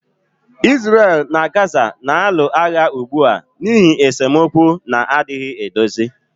Israel na Gaza na-alụ agha ugbu a n'ihi esemokwu na-adịghị edozi